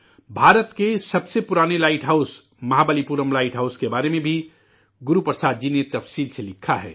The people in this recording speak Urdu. ہندوستان کے سب سے قدیم lighthouse Mahabalipuram lighthouse کے بارے میں بھی گرو پرساد جی نے تفصیل سے لکھا ہے